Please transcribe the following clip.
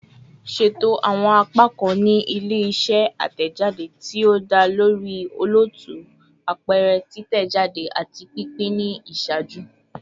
Ṣeto awọn apakan ni ile-iṣẹ atẹjade ti o da lori olootu, apẹrẹ, titẹjade, ati pinpin ni iṣaaju